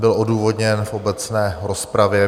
Byl odůvodněn v obecné rozpravě.